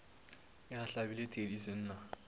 ge a hlabile thedi senna